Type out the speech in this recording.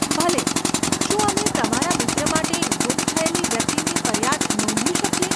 ભલે, શું અમે તમારા મિત્ર માટે ગુમ થયેલી વ્યક્તિની ફરિયાદ નોંધી શકીએ?